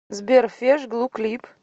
сбер феш глу клип